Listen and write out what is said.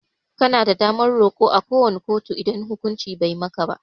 Kana da damar Kai roko à ko wani kotu idan hukunci Bai yi maka ba.